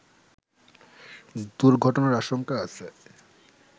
দুর্ঘটনার আশঙ্কা আছে